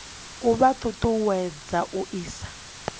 a vha ṱuṱuwedza u isa